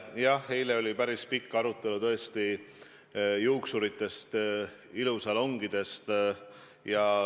Jah, eile oli päris pikk arutelu tõesti, mis saab juuksuritest, ilusalongidest.